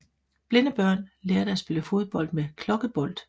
Blinde børn lærte at spille fodbold med klokkebold